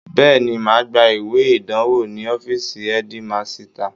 Bẹ́ẹ̀ni, màá gba ìwé ìdánwò ní ọfíìsì ẹ́dímasità